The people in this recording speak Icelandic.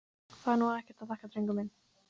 Það var nú ekkert að þakka, drengur minn.